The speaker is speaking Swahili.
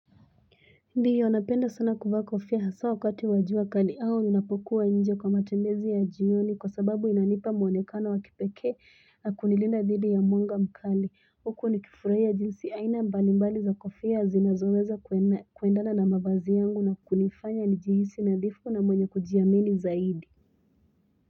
Ndi yonapenda sana kuvaa kofia hasa wakati wajua kali au nina pokuwa nje kwa matembezi ya jioni kwa sababu inanipa mwonekano wa kipekee na kunilinda dhidi ya mwanga mkali. Huku ni kifuraia jinsi aina mbalimbali za kofia zinazoweza kuendana na mavazi yangu na kunifanya ni jihisi na dhifu na mwenye kujiamini zaidi.